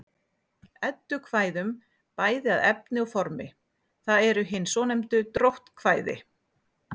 Eddukvæðum bæði að efni og formi, það eru hin svonefndu dróttkvæði.